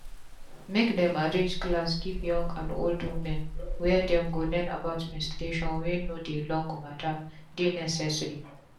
make dem them arrange class give young and old women where dem go learn about menstruation wey dey long matter dey necessary.